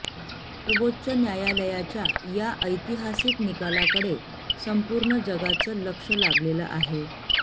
सर्वोच्च न्यायालयाच्या या ऐतिहासिक निकालाकडे संपूर्ण जगाचं लक्ष लागलेलं आहे